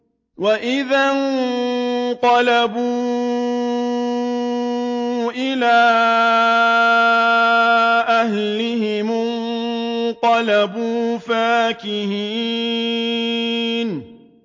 وَإِذَا انقَلَبُوا إِلَىٰ أَهْلِهِمُ انقَلَبُوا فَكِهِينَ